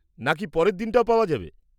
-নাকি পরের দিনটাও পাওয়া যাবে?